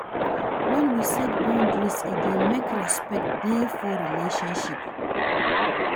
When we set boundaries, e dey make respect dey for relationship